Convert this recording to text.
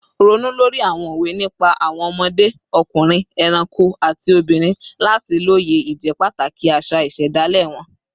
Ronú lórí àwọn òwe nípa àwọn ọmọdé, ọkùnrin, ẹranko, àti obìnrin láti lóye ìjẹ́pàtàkì àṣà ìṣẹ̀dálẹ̀ wọn